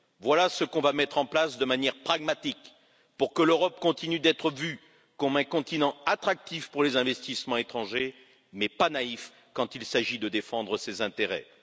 Voilà ce que nous allons mettre en place de manière pragmatique pour que l'Europe continue d'être vue comme un continent attractif pour les investissements étrangers, mais pas naïf lorsqu'il s'agit de défendre ses intérêts.